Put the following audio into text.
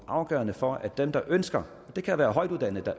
afgørende for at dem der ønsker det kan være højtuddannede